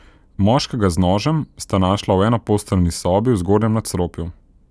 Moškega z nožem sta našla v enoposteljni sobi v zgornjem nadstropju.